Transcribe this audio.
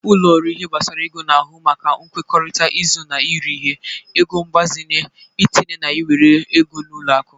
Ụlo ọrụ ihe gbasara ego na-ahụ maka nkwekọrịta izụ na eri ihe, ego mgbazinye, itinye na iwere ego n'ụlọ akụ.